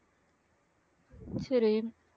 சரி